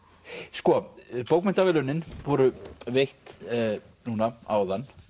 sko bókmenntaverðlaunin voru veitt núna áðan